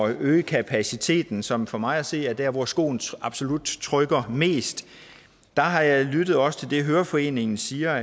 øge kapaciteten som for mig at se er der hvor skoen absolut trykker mest har jeg lyttet også til det høreforeningen siger